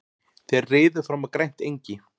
Þeir riðu fram á grænt engi.